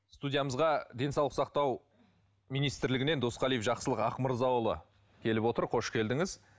студиямызға денсаулық сақтау министірлігінен досқалиев жақсылық ақмырзаұлы келіп отыр қош келдіңіз